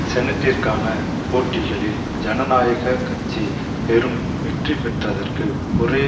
செனட்டிற்கான போட்டிகளில் ஜனநாயக கட்சி பெரும் வெற்றி பெற்றதற்கு ஒரே